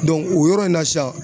o yɔrɔ in na sisan